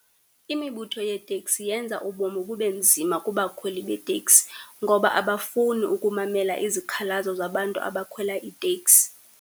Imibutho yeeteksi yenza ubomi bube nzima kubakhweli beeteksi, ngoba abafuni ukumamela izikhalazo zabantu abakhwela iiteksi.